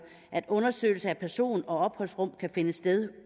at undersøgelse af person og opholdsrum kan finde sted